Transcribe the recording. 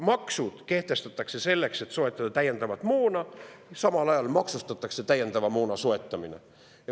Maksud kehtestatakse selleks, et soetada täiendavat moona, ja samal ajal maksustatakse täiendava moona soetamine.